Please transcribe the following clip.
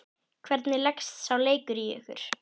Hvernig leggst sá leikur í ykkur?